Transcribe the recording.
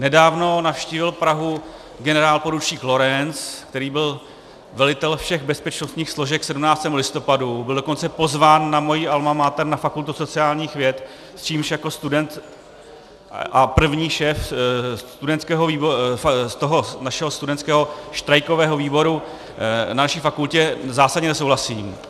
Nedávno navštívil Prahu generálporučík Lorenc, který byl velitelem všech bezpečnostních složek 17. listopadu, byl dokonce pozván na moji alma mater na fakultu sociálních věd, s čímž jako student a první šéf našeho studentského štrajkového výboru na naší fakultě zásadně nesouhlasím.